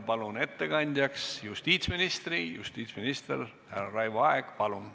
Palun ettekandjaks justiitsminister härra Raivo Aegi!